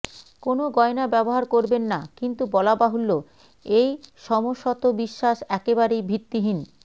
কোনও গয়না ব্যবহার করবেন না কিন্তু বলা বাহুল্য এই সমসত বিশ্বাস একেবারেই ভিত্তিহীন